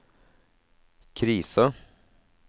krisa